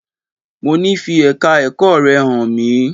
Mo ní fi Ẹ̀ka ẹ̀kọ́ rẹ hàn mí!